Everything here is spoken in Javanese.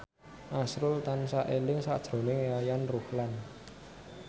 azrul tansah eling sakjroning Yayan Ruhlan